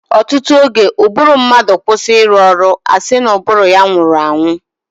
ọtụtụ oge, ụbụrụ mmadụ kwụsị ịrụ ọrụ, a sị na ụbụrụ ya nwụrụ anwụ.